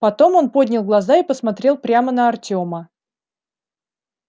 потом он поднял глаза и посмотрел прямо на артёма